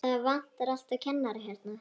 Það vantar alltaf kennara hérna.